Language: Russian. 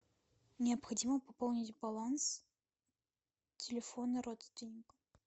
необходимо пополнить баланс телефона родственника